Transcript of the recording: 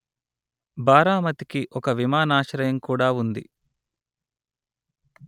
బారామతికి ఒక విమానాశ్రయం కూడా ఉంది